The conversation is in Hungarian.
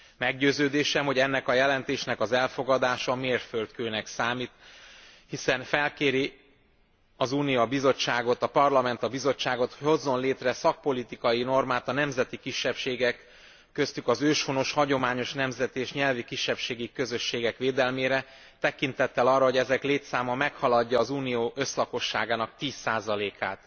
Meggyőződésem, hogy ennek a jelentésnek az elfogadása mérföldkőnek számít, hiszen felkéri a Parlament a Bizottságot, hogy hozzon létre szakpolitikai normát a nemzeti kisebbségek, köztük az őshonos, hagyományos nemzeti és nyelvi kisebbségi közösségek védelmére, tekintettel arra, hogy ezek létszáma meghaladja az Unió összlakosságának 10 át.